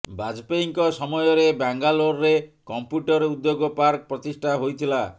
ବାଜପେୟୀଙ୍କ ସମୟରେ ବାଙ୍ଗାଲୋରରେ କମ୍ପ୍ୟୁଟର ଉଦ୍ୟୋଗ ପାର୍କ ପ୍ରତିଷ୍ଠା ହୋଇଥିଲା